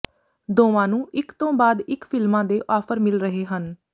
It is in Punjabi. ਦੋਵਾਂ ਨੂੰ ਇੱਕ ਤੋਂ ਬਾਅਦ ਇੱਕ ਫ਼ਿਲਮਾਂ ਦੇ ਆਫਰ ਮਿਲ ਰਹੇ ਹਨ